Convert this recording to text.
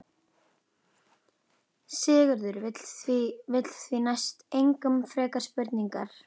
Sigurður vill því næst engum frekari spurningum svara.